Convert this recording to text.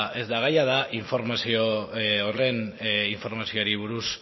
ez da gaia da informazio horren informazioari buruz